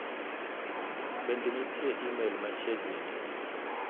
Bende nitie imel machiegni ni .